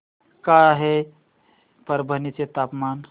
काय आहे परभणी चे तापमान